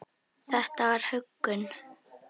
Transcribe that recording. Þetta var huggun.